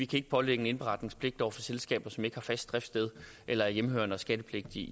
kan pålægge en indberetningspligt over for selskaber som ikke har fast driftssted eller er hjemmehørende og skattepligtige